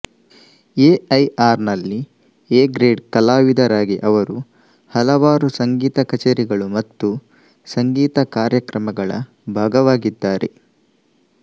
ಎಐಆರ್ನಲ್ಲಿ A grade ಕಲಾವಿದರಾಗಿ ಅವರು ಹಲವಾರು ಸಂಗೀತ ಕಚೇರಿಗಳು ಮತ್ತು ಸಂಗೀತ ಕಾರ್ಯಕ್ರಮಗಳ ಭಾಗವಾಗಿದ್ದಾರೆ